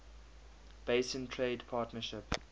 basin trade partnership